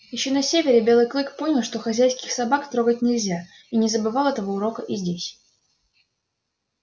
ещё на севере белый клык понял что хозяйских собак трогать нельзя и не забывал этого урока и здесь